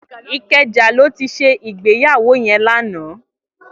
Ikeja lò ti sé igbéyàwó yèn làná